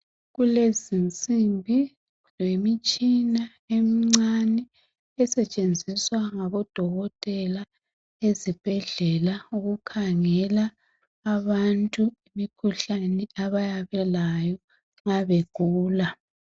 kulezinsimbi lemitshina emincane esetshenziswa ngabodokotela ezibhedlela ukukhangela abantu imikhuhlane abayabe belayo mabegula